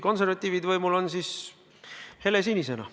Kui konservatiivid võimul on, siis helesinisena.